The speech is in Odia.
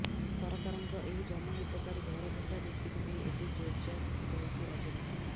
ସରକାରଙ୍କ ଏହି ଜନହିତକାରୀ ଘର ଭଙ୍ଗା ନୀତିକୁ ନେଇ ଏବେ ଯୋର ଧରିଛି ରାଜନୀତି